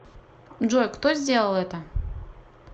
джой кто сделал это